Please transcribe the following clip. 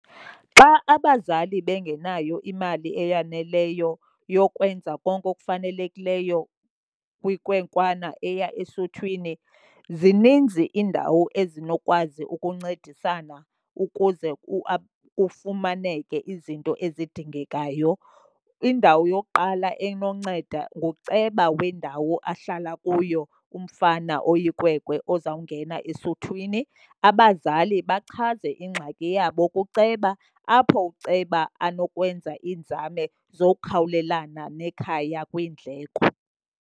Xa abazali bengenayo imali eyaneleyo yokwenza konke okufanelekileyo kwinkwenkwana eya esuthwini zininzi iindawo ezinokwazi ukuncedisana ukuze kufumaneke izinto ezidingekayo. Indawo yokuqala enonceda nguceba wendawo ahlala kuyo umfana oyikwekwe ozawungena esuthwini. Abazali bachaze ingxaki yabo kuceba apho uceba anokwenza iinzame zokhawulelana nekhaya kwiindleko.